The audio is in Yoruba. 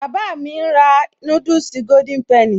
Bàbá mi ń rà núdùsì Golden penny